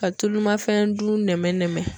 Ka tulu ma fɛn dun.